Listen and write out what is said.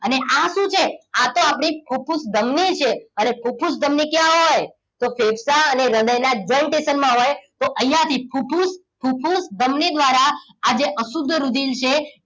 અને આ શું છે આ તો આપણી ફુફુસ ધમની છે અને ફુફુસ ધમની ક્યાં હોય તો ફેફસા અને હૃદયના joint station માં હોય તો અહીંયા થી ફુફુસ ફુફુસ ધમની દ્વારા આજે અશુદ્ધ રુધિર છે